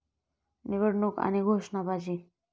निवडणूक आणि घोषणाबाजी